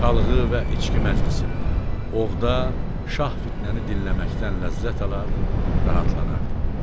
Çalğı və içki məclisində, ovda şah Fitnəni dinləməkdən ləzzət alar, rahatlanardı.